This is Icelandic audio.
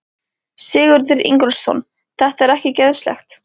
Sigurður Ingólfsson: Þetta er ekki geðslegt?